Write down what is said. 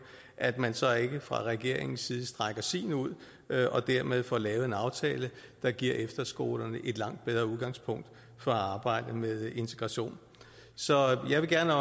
at man så ikke fra regeringens side strækker sin ud og dermed får lavet en aftale der giver efterskolerne et langt bedre udgangspunkt for at arbejde med integration så jeg vil gerne